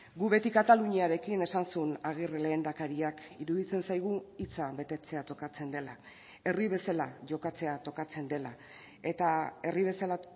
gu beti kataluniarekin esan zuen agirre lehendakariak iruditzen zaigu hitza betetzea tokatzen dela herri bezala jokatzea tokatzen dela eta herri bezala